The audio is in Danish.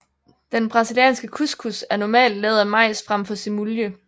Den brasilianske cuscuz er normalt lavet af majs frem for semulje